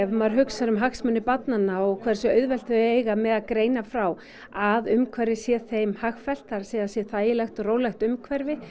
maður hugsar um hagsmuni barnanna og hversu auðvelt þau eiga með að greina frá að umhverfið sé þeim hagfellt það er að sé þægilegt og rólegt umhverfi